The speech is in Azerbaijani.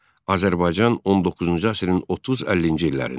Azərbaycan 19-cu əsrin 30-50-ci illərində.